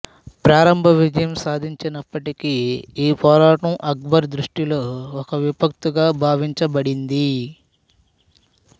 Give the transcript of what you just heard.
ప్రారంభ విజయం సాధించినప్పటికీ ఈ పోరాటం అక్బరు దృష్టిలో ఒక విపత్తుగా భావించబడింది